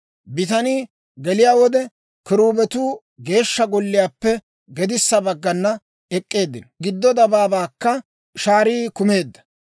Bitanii geliyaa wode, kiruubetuu Geeshsha Golliyaappe gedissa baggana ek'k'eeddino; giddo dabaabaakka shaarii kumeedda.